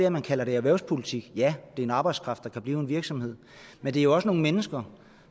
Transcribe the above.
at man kalder det erhvervspolitik ja det er en arbejdskraft der kan blive i en virksomhed men det er også nogle mennesker